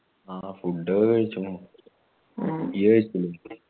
ആ food ഒക്കെ കഴിച്ചിക്കുണു ഇയ്യ്‌ കഴിച്ചില്ലേ